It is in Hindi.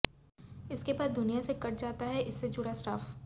इसके बाद दुनिया से कट जाता है इससे जुड़ा स्टाफ